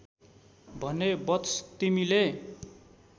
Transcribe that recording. भने वत्स तिमीले